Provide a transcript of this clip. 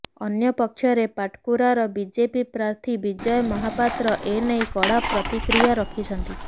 ଅନ୍ୟପକ୍ଷରେ ପାଟକୁରାର ବିଜେପି ପ୍ରାର୍ଥୀ ବିଜୟ ମହାପାତ୍ର ଏନେଇ କଡ଼ା ପ୍ରତିକ୍ରିୟା ରଖିଛନ୍ତି